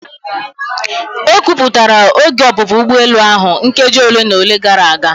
Ekwupụtara oge ọpụpụ ugbọelu ahụ nkeji ole na ole gara aga.